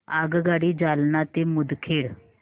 आगगाडी जालना ते मुदखेड